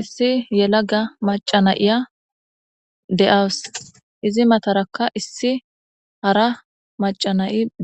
issi yelaga macanayiya de7aws izi matarakka issi hara macanay7i